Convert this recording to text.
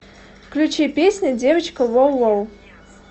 включи песня девочка воу воу